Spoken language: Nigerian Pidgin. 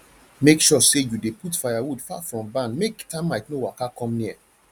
make sure say you dey put firewood far from barn make termite no waka come near